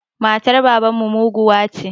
Matar baban mu muguwa ce